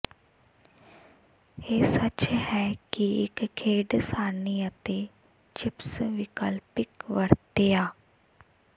ਇਹ ਸੱਚ ਹੈ ਕਿ ਇੱਕ ਖੇਡ ਸਾਰਣੀ ਅਤੇ ਚਿਪਸ ਵਿਕਲਪਿਕ ਵਰਤਿਆ